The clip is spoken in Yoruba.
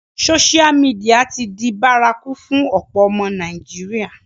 Sósial mìdìya ti di bárakú fún ọ̀pọ̀ ọmọ Nàìjíríà